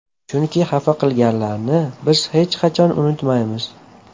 Chunki xafa qilganlarni biz hech qachon unutmaymiz.